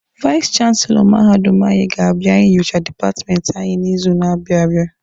Vais chanselọ mahadum anyị ga-abịa inyocha dipatmenti anyị n'izu na-abịa abịa.